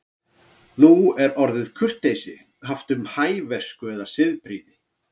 Nú er orðið kurteisi haft um hæversku eða siðprýði.